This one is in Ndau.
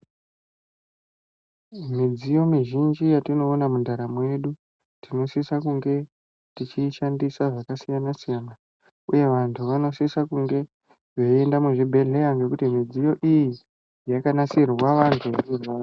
Midziyo mizhinji yatinowona mundaramo yedu, tinosisa kunge tichiyishandisa zvakasiyana siyana. Uye vantu vanosisa kunge veyiyenda muzvibhedhleya nekuti midziyo iyi, yakanasirwa vantu vanorwara.